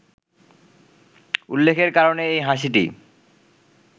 উল্লেখের কারণে এই হাসিটি